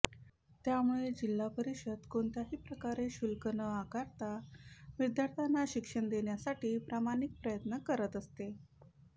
त्यामुळे जिल्हा परिषद कोणत्याही प्रकारे शुल्क न आकारता विद्यार्थ्यांना शिक्षण देण्यासाठी प्रामाणिक प्रयत्न करत असते